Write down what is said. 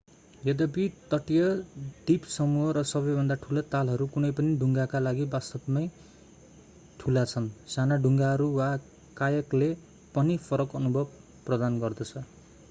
यद्यपि तटीय द्वीपसमूह र सबैभन्दा ठूला तालहरू कुनै पनि डुङ्गाका लागि वास्तवमा नै ठुला छन् साना डुङ्गाहरू वा कायाकले पनि फरक अनुभव प्रदान गर्दछ